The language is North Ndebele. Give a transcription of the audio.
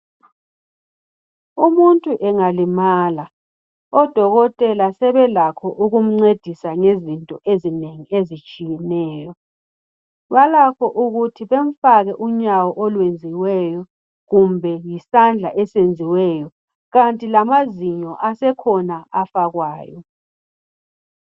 Umuntu engalimala odokotela sebelakho ukumncedisa ngezinto ezinengi ezitshiyeneyo balakho ukuthi bamfake unyawo oluyenziweyo kumbe isandla esenziweyo kanti lamazinyo asekhona afakwayo.